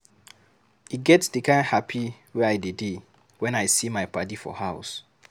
E get di kind hapi wey I dey dey wen I see my paddy for house.